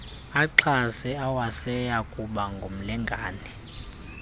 axhase owayesakuba ngumlingane